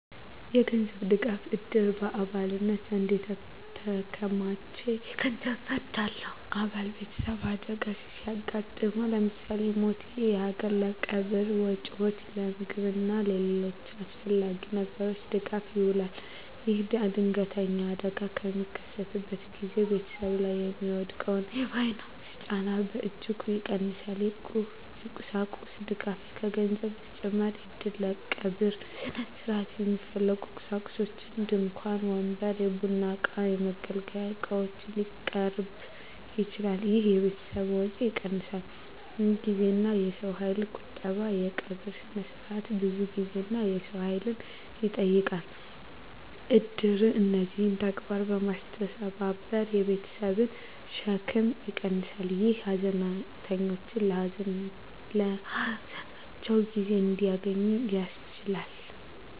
የገንዘብ ድጋፍ: እድር በአባላት ዘንድ የተከማቸ የገንዘብ ፈንድ አለው። አባል ቤተሰብ አደጋ ሲያጋጥመው (ለምሳሌ ሞት)፣ ይህ ገንዘብ ለቀብር ወጪዎች፣ ለምግብ እና ለሌሎች አስፈላጊ ነገሮች ድጋፍ ይውላል። ይህም ድንገተኛ አደጋ በሚከሰትበት ጊዜ ቤተሰብ ላይ የሚወድቀውን የፋይናንስ ጫና በእጅጉ ይቀንሳል። የቁሳቁስ ድጋፍ: ከገንዘብ በተጨማሪ እድር ለቀብር ሥነ ሥርዓት የሚያስፈልጉ ቁሳቁሶችን (ድንኳን፣ ወንበር፣ የቡና እቃዎች፣ የመገልገያ ዕቃዎች) ሊያቀርብ ይችላል። ይህ የቤተሰብን ወጪ ይቀንሳል። የጊዜና የሰው ኃይል ቁጠባ: የቀብር ሥነ ሥርዓት ብዙ ጊዜና የሰው ኃይል ይጠይቃል። እድር እነዚህን ተግባራት በማስተባበር የቤተሰብን ሸክም ይቀንሳል፣ ይህም ሀዘንተኞች ለሀዘናቸው ጊዜ እንዲያገኙ ያስችላል።